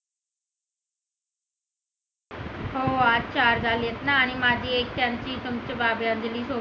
हो आज चार झालेत ना आणि माझे